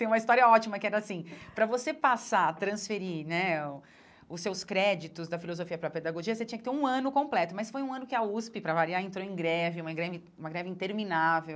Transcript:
Tem uma história ótima que era assim, para você passar, transferir né o os seus créditos da filosofia para a pedagogia, você tinha que ter um ano completo, mas foi um ano que a USP, para variar, entrou em greve, uma greve in uma greve interminável.